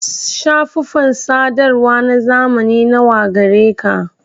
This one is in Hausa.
Shafufan sadarwa na zamani nawa gareka?